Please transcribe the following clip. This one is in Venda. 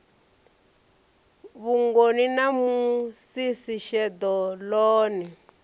vhugoni na musisi sheḓo ḽone